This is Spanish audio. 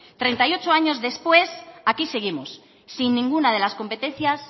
treinta y ocho años después aquí seguimos sin ninguna de las competencias